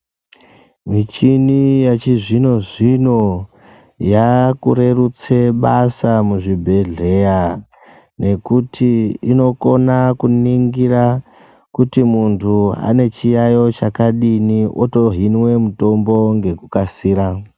Michini yechizvino zvino yaakurerutse basa muzvibhedhleya nekuti inokona kuningira kuti muntu ane chiyayo chakadini otohinwe mutombo nekukasira.